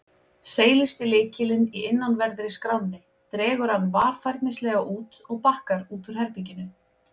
Seilist í lykilinn í innanverðri skránni, dregur hann varfærnislega út og bakkar út úr herberginu.